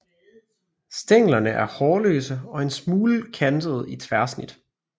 Stænglerne er hårløse og en smule kantede i tværsnit